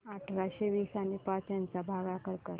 अठराशे वीस आणि पाच यांचा भागाकार कर